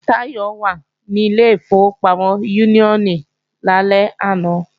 Táyọ̀ wà ní ilé ìfowópamọ́ Úníónì lálẹ́ àná